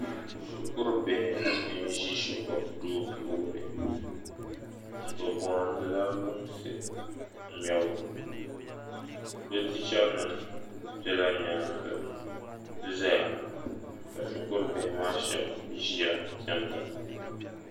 Shikurubihi n ʒi shikuru duu puuni bi bohandila lunsi ŋmɛbu bi chicha nim bɛla nyaanga ʒɛya ka shikuru bihi maa shaba ʒiya diɛmda